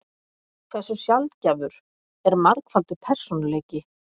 Hversu sjaldgæfur er margfaldur persónuleiki?